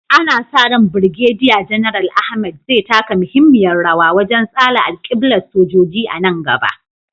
Ana sa ran Birgediya Janar Ahmed zai taka muhimmiyar rawa wajen tsara alƙiblar sojoji a nan gaba.